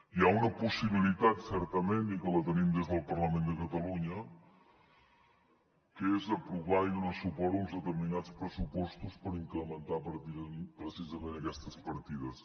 hi ha una possibilitat certament i que la tenim des del parlament de catalunya que és aprovar i donar suport a uns determinats pressupostos per incrementar precisament aquestes partides